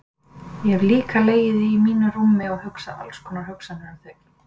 Ég hef líka legið í mínu rúmi og hugsað alls konar hugsanir um þig.